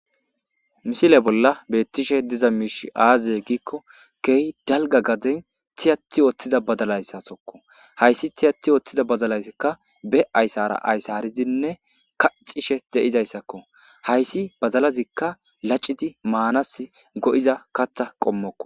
misile bolla beettishe diza miish aazee giikko kehi dalga gaden tiyati ooththiza badalayssa sokko hayssi tiyati ooththiza bazalayssikka be ayssara ayssarizinne kacishe ze'izayssakko hayssi bazalazikka laciti maanas go'iza katha qommokko